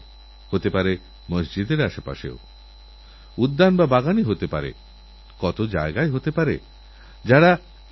কোনও একটা নকল লেটার প্যাড বানিয়ে পাঠিয়েদিয়ে আপনার ক্রেডিট কার্ড ডেবিট কার্ডের নম্বর জেনে নেয় এবং প্রযুক্তির মাধ্যমে আপনারব্যাঙ্কের খাতা খালি হয়ে যায়